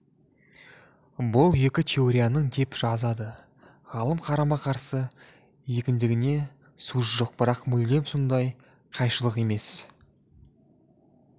бұл екі теорияның деп жазады ғалым қарама-қарсы екендігіне сөз жоқ бірақ мүлдем сондай қайшылық емес